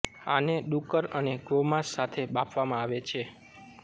આને ડુક્કર અને ગોમાંસ સાથે બાફવામાં આવે છે